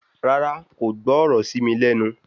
Rárá, kò gbọ́ ọ̀rọ̀ ṣí mi lẹ́nu